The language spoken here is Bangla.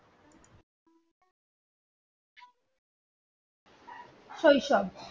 শৈশব